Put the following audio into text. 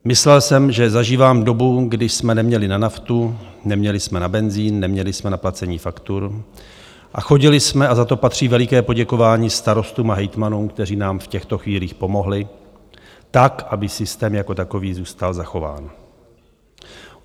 Myslel jsem, že zažívám dobu, kdy jsme neměli na naftu, neměli jsme na benzín, neměli jsme na placení faktur a chodili jsme, a za to patří veliké poděkování starostům a hejtmanům, kteří nám v těchto chvílích pomohli, tak aby systém jako takový zůstal zachován.